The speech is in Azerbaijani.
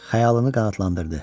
Xəyalını qanadlandırdı.